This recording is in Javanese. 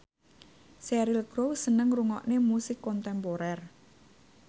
Cheryl Crow seneng ngrungokne musik kontemporer